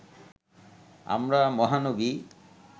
আমরা মহানবী